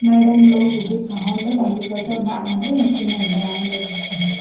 मैडम लोग भी दिखण होल लग्या की बच्चा बणाण लग्या कि नि बणाण लग्या ।